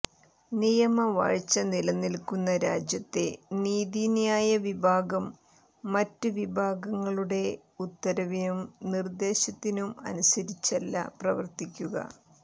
നിയമവാഴ്ച നിലനില്ക്കുന്ന രാജ്യത്തെ നീതിന്യായ വിഭാഗം മറ്റ് വിഭാഗങ്ങളുടെ ഉത്തരവിനും നിര്ദേശത്തിനും അനുസരിച്ചല്ല പ്രവര്ത്തിക്കുക